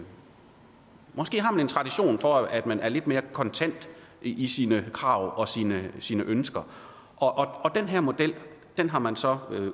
tradition for at man er lidt mere kontant i sine krav og sine ønsker og den her model har man så